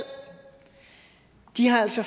de har altså